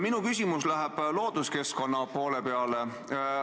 Minu küsimus läheb looduskeskkonna poole peale.